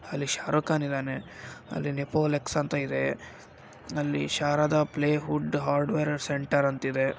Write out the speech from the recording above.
ಅಲ್ಲಿ ಶಾರುಕ್ಖಾನ್ ಇದಾನೆ ಅಲಿ ನೇಪೋಲಿಕ್ಸ್ ಅಂತಾ ಇದೆ ಅಲ್ಲಿ Sharada plywood hardware centre ಅಂತ ಇದೆ.